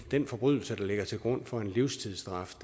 den forbrydelse der ligger til grund for en livstidsstraf